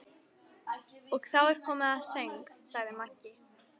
Og þá er komið að söng, sagði Maggi.